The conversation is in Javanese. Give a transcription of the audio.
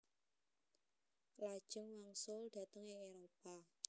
Lajeng wangsul dhateng ing Éropah